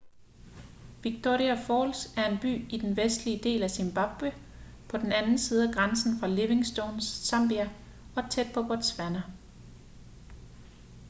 victoria falls er en by i den vestlige del af zimbabwe på den anden side af grænsen fra livingstone zambia og tæt på botswana